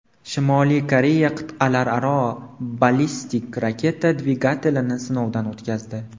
Shimoliy Koreya qit’alararo ballistik raketa dvigatelini sinovdan o‘tkazdi.